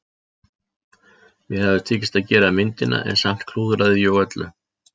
Mér hafði tekist að gera myndina en samt klúðraði ég öllu.